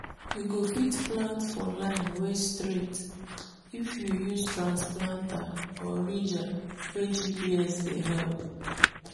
you go fit plant for line wey straight if you use transplanter or ridger wey gps dey help.